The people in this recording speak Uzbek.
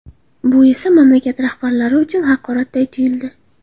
Bu esa mamlakat rahbarlari uchun haqoratday tuyuldi.